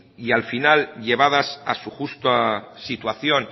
y al final llevadas a su justa situación